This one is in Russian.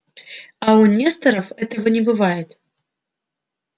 а у несторов этого не бывает